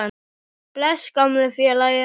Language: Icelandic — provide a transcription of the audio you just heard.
Bless, gamli félagi.